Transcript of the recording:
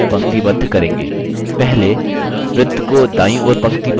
पहले वृत्त को दायीं ओर पंक्तिबद्ध करें